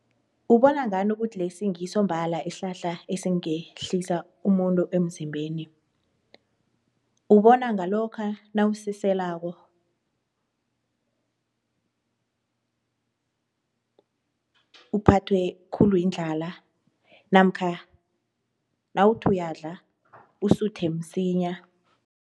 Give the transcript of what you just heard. Ubona ngani ukuthi lesi ngiso mbala isihlahla esingehlisa umuntu emzimbeni? Ubona ngalokha nawusiselako uphathwe khulu yindlala namkha nawuthi uyadla usuthe msinya.